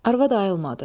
Arvad ayılmadı.